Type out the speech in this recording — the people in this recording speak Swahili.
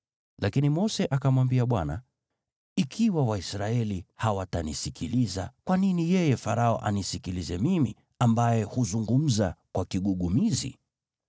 Lakini Mose akamwambia Bwana , “Ikiwa Waisraeli hawatanisikiliza, kwa nini yeye Farao anisikilize mimi, ambaye huzungumza kwa kigugumizi?”